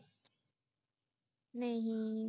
ਨਹੀਂ